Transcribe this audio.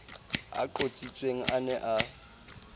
a qotsitsweng a ne a